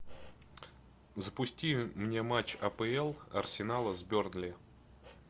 запусти мне матч апл арсенала с бернли